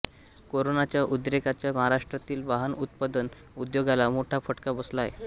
करोनाच्या उद्रेकाचा महाराष्ट्रातील वाहन उत्पादन उद्योगाला मोठा फटका बसला आहे